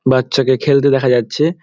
বাচ্চা কে খেলতে দেখা যাচ্ছে ।